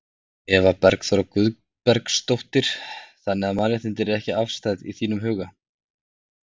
Eva Bergþóra Guðbergsdóttir: Þannig að mannréttindi eru ekki afstæð í þínum huga?